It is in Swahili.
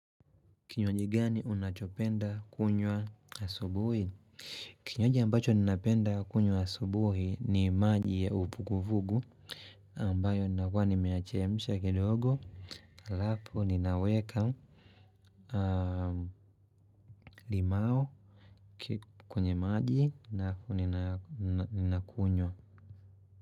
Kinywaji gani unachopenda kunywa asubuhi. Kinywaji ambacho ninapenda kunywa asubuhi ni maji ya uvuguvugu ambayo ninakuwa nimeyachemsha kidogo halafu ninaweka limau kwenye maji alafu ninakunywa.